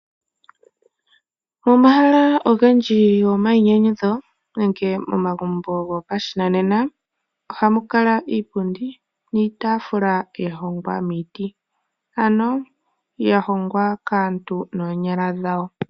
Momahala ogendji go mayinyanyudho nenge momagumbo gopashinanena ohamu kala iipundi niitaafula ya hongwa miiti ano ya hongwa kaantu noonyala dhawo